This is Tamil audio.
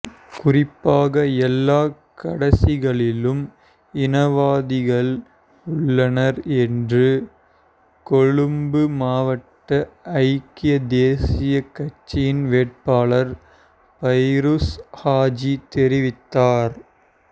குறிப்பாக எல்லாக் கடசிகளிலும் இனவாதிகள் உள்ளனர் என்று கொழும்பு மாவட்ட ஐக்கிய தேசிய கட்சியின் வேட்பாளர் பைரூஸ் ஹாஜி தெரிவித்தார்